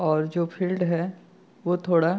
और जो फ़ील्ड है वो थोड़ा --